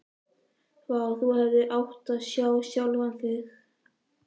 Vá, þú hefðir átt að sjá sjálfan þig.